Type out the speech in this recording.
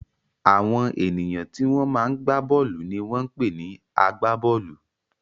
Àwọn ènìyàn tí wọ́n máa ń gbá bọ́ọ́lù ni wọ́n ń pè ní agbá-bọ́ọ́lù.